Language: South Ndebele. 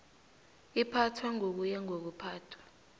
iphathwa ngokuya ngokuphathwa